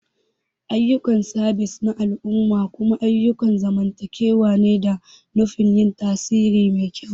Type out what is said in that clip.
Ayyukan sabis na al'umma kuma ayyukan zamantakewa ne da nufin yin tasiri mai kyau.